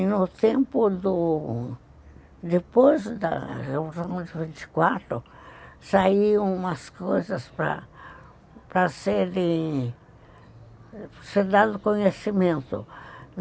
E no tempo do... depois da revolução de mil novecentos e vinte e quatro saiu umas coisas para para serem serem dado conhecimento.